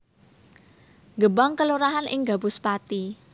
Gebang kelurahan ing Gabus Pathi